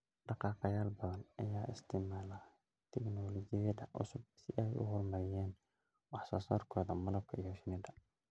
Dhaqaaqayaal badan ayaa isticmaala tignoolajiyada cusub si ay u horumariyaan wax soo saarkooda malabka iyo shinnida.